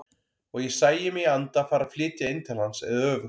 Og ég sæi mig í anda fara að flytja inn til hans eða öfugt.